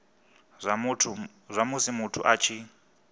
zwa musi muthu a tshi